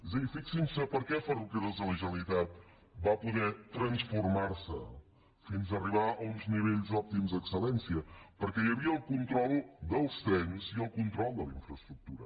és a dir fixin s’hi per què ferrocarrils de la generalitat va poder transformar se fins arribar a uns nivells òptims d’excel·lència perquè hi havia el control dels trens i el control de la infraestructura